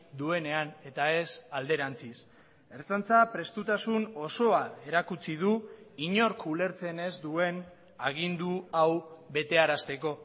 duenean eta ez alderantziz ertzaintza prestutasun osoa erakutsi du inork ulertzen ez duen agindu hau betearazteko